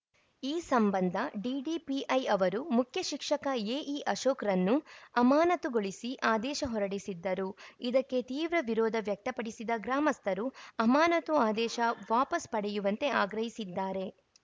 ಈ ಸಂಬಂಧ ಡಿಡಿಪಿಐ ಅವರು ಮುಖ್ಯಶಿಕ್ಷಕ ಎಇಅಶೋಕ್‌ರನ್ನು ಅಮಾನತುಗೊಳಿಸಿ ಆದೇಶ ಹೊರಡಿಸಿದ್ದರು ಇದಕ್ಕೆ ತೀವ್ರ ವಿರೋಧ ವ್ಯಕ್ತಪಡಿಸಿದ ಗ್ರಾಮಸ್ಥರು ಅಮಾನತು ಆದೇಶ ವಾಪಸ್‌ ಪಡೆಯುವಂತೆ ಆಗ್ರಹಿಸಿದ್ದಾರೆ